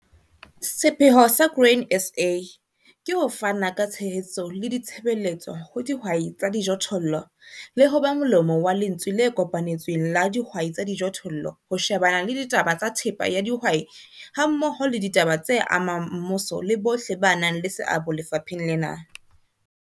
Sepheo sa Grain SA ke ho fana ka tshehetso le ditshebeletso ho dihwai tsa dijothollo le ho ba molomo wa lentswe le kopanetsweng la dihwai tsa dijothollo ho shebana le ditaba tsa thepa ya dihwai hammoho le ditaba tse amang mmuso le bohle ba nang le seabo lefapheng lena.